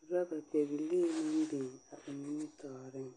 urɔbapɛbilii meŋ biŋ a ba nimitɔɔreŋ.